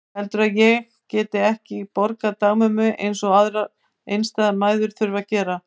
Heldurðu að ég geti ekki borgað dagmömmu eins og aðrar einstæðar mæður þurfa að gera?